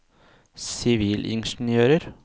sivilingeniører